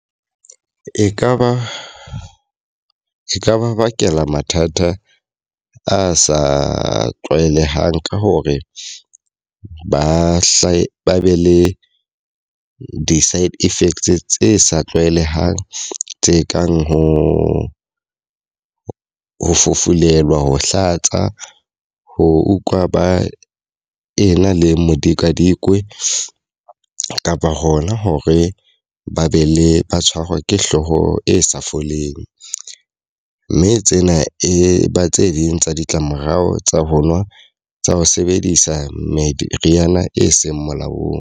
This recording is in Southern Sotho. E ka ba ka ba bakela mathata a sa tlwaelehang ka hore ba hle ba be le di side effects tse sa tlwaelehang tse kang ho fufulelwa, ho hlatsa, ho utlwa ba ena le medikadikwane, kapa hona hore ba be le ba tshwarwa ke hlooho e sa foleng. Mme tsena e ba tse ding tsa ditlamorao tsa ho nwa tsa ho sebedisa meriana e seng molaong.